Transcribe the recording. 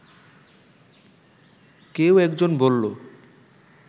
কেউ একজন বললো